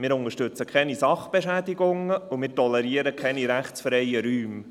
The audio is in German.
Wir unterstützen keine Sachbeschädigungen, und wir tolerieren keine rechtsfreien Räume.